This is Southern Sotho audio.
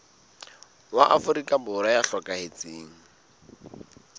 wa afrika borwa ya hlokahetseng